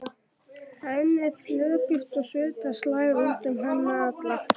Henni er flökurt og svita slær út um hana alla.